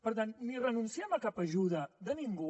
per tant ni renunciem a cap ajuda de ningú